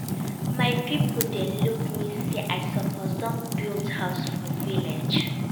My pipo dey look me sey I suppose don build house for village.